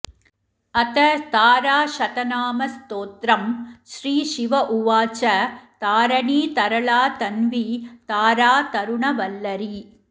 अथ ताराशतनामस्तोत्रम् श्रीशिव उवाच तारणी तरला तन्वी तारा तरुणवल्लरी